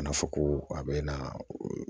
Ka na fɔ ko a be na